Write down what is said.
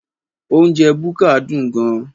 Oúnjẹ búkà dùn gan